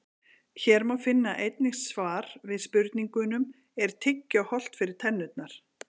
Hér má einnig finna svar við spurningunum: Er tyggjó hollt fyrir tennurnar?